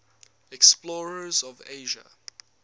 explorers of asia